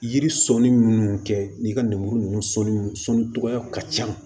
Yiri sɔnni minnu kɛ n'i ka lemuru ninnu sɔnni sɔnni cogoya ka ca